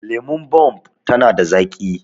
Lemon Bomb tana da zaƙi